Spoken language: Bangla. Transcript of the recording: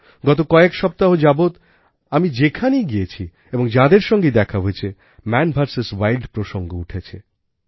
গত কয়েক সপ্তাহ যাবৎ আমি যেখানেই গিয়েছি এবং যাঁদের সঙ্গেই দেখা হয়েছে মান ভিএস উইল্ড প্রসঙ্গ উঠেছে